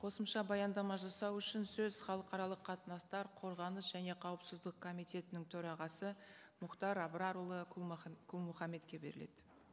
қосымша баяндама жасау үшін сөз халықаралық қатынастар қорғаныс және қауіпсіздік комитетінің төрағасы мұхтар абрарұлы құл мұхаммедке беріледі